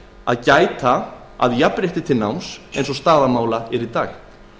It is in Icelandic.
að gæta að jafnrétti til náms eins og staða mála er í dag